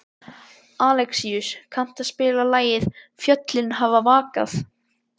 Alexíus, kanntu að spila lagið „Fjöllin hafa vakað“?